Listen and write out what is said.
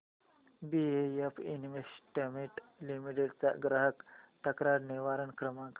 BF investment limited चा ग्राहक तक्रार निवारण क्रमांक